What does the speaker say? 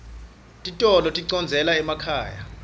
titolo tidondzela emakhaya